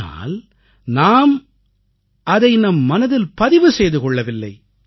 ஆனால் நாம் அதை நம் மனதில் பதிவு செய்து கொள்ளவில்லை